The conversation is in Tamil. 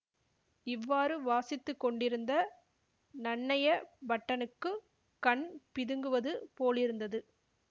இவ்வாறு வாசித்து கொண்டிருந்த நன்னய பட்டனுக்குக் கண் பிதுங்குவது போலிருந்தது